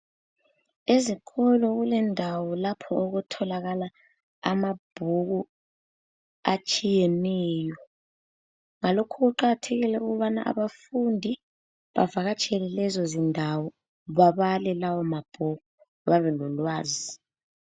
Izikolo kulendawo lapho okutholakala amabhuku atshiyeneyo. Ngalokhu kuqakathekile ukubana abafundi bavakatshele lezo zindawo babale lawo mabhuku, bebe lolwazi.